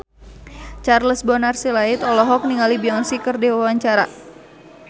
Charles Bonar Sirait olohok ningali Beyonce keur diwawancara